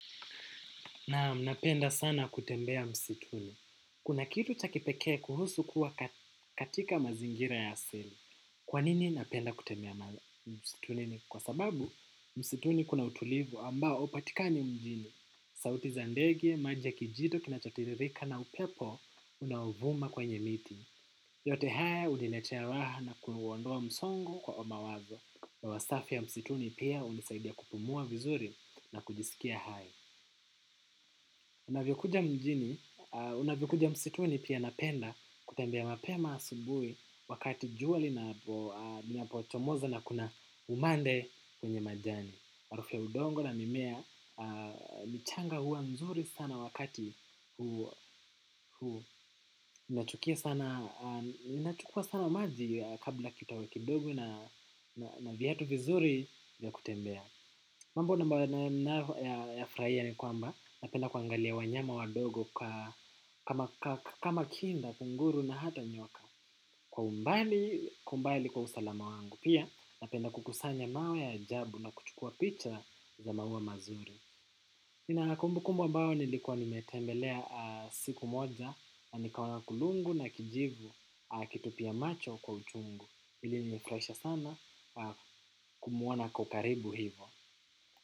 Naam, napenda sana kutembea msituni. Kuna kitu cha kipekee kuhusu kuwa katika mazingira ya asili. Kwa nini napenda kutembea msitunini kwa sababu msituni kuna utulivu ambao upatikani mjini. Sauti za ndege, maji ya kijito, kinachotiririka na upepo unaovuma kwenye miti. Yote haya uniletea raha na kuondoa msongo kwa mawazo. Hewa safi ya msituni pia unisaidia kupumua vizuri na kujisikia haya. Unavyokuja mjini, unavyokuja msituni pia napenda kutembea mapema asubui wakati jua linapochomoza na kuna umande kwenye majani. Harufu ya udongo na mimea, michanga huwa nzuri sana wakati, inachukuwa sana maji kabla kitawe kidogo na vyatu vizuri vya kutembea. Mambo ninaoyafurahia ni kwamba napenda kuangalia wanyama wadogo kama kinda, kunguru na hata nyoka. Kwa umbali kwa usalama wangu. Pia na enda kukusanya mawe ya ajabu na kuchukuwa picha za maua mazuri. Na kumbukumbu ambao nilikuwa nimetembelea siku moja na nikaona kulungu na kijivu akitupia macho kwa uchungu. Ilinifuraisha sana kumwona ako karibu hivo.